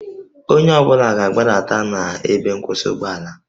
Onye ọ bụla ga-agbadata na ebe nkwụsị ụgbọala